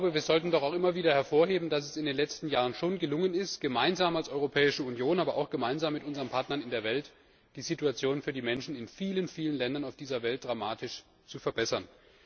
Wir sollten auch immer wieder hervorheben, dass es in den letzten Jahren schon gelungen ist, gemeinsam als Europäische Union, aber auch gemeinsam mit unseren Partnern in der Welt die Situation für die Menschen in vielen Ländern auf dieser Welt dramatisch zu verbessern.